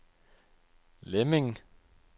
Lemming